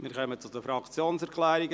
Wir kommen zu den Fraktionserklärungen.